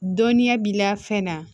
Dɔnniya b'i la fɛn na